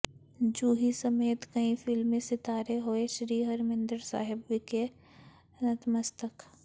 ਜੂਹੀ ਸਮੇਤ ਕਈ ਫਿਲਮੀ ਸਿਤਾਰੇ ਹੋਏ ਸ੍ਰੀ ਹਰਿਮੰਦਰ ਸਾਹਿਬ ਵਿਖੇ ਨਤਮਸਤਕ